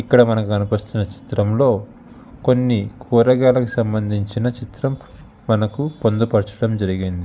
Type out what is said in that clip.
ఇక్కడ మనకు కనిపిస్తున్న చిత్రంలో కొన్ని కూరగాయలకు సంబంధించిన చిత్రం మనకు పొందుపరచడం జరిగింది.